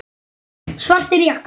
Svartir jakkar.